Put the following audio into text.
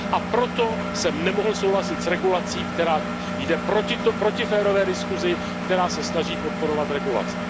A proto jsem nemohl souhlasit s regulací, která jde proti férové diskusi, která se snaží podporovat regulace.